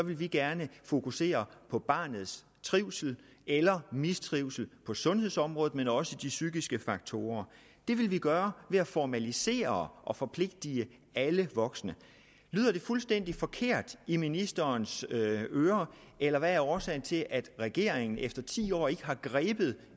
vil de gerne fokusere på barnets trivsel eller mistrivsel på sundhedsområdet men også på de psykiske faktorer det vil vi gøre ved at formalisere og forpligte alle voksne lyder det fuldstændig forkert i ministerens ører eller hvad er årsagen til at regeringen efter ti år ikke har grebet